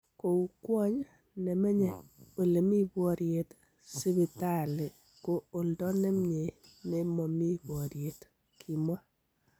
"Kou Kwony nemenye elemi boriet, sibitaali ko oldo nemnyie ne momi boriet"Kimwaa.